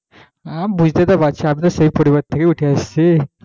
হ্যাঁ বুঝতে তো পারছি আমিতো সেই পরিবার থেকে উঠে এসেছি,